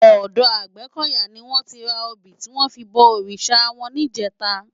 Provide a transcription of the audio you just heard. Òdò Agbekoya ni wòn ti rá óbi tiwòn fi bò órisá wòn nijètá